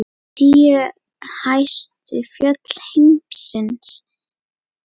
Tíu hæstu fjöll heims eru